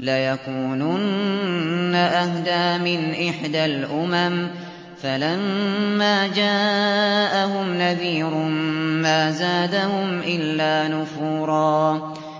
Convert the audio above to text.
لَّيَكُونُنَّ أَهْدَىٰ مِنْ إِحْدَى الْأُمَمِ ۖ فَلَمَّا جَاءَهُمْ نَذِيرٌ مَّا زَادَهُمْ إِلَّا نُفُورًا